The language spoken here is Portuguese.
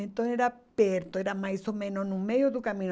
Então era perto, era mais ou menos no meio do caminho.